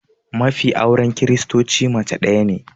Mafi auren kiristocin mace daya ne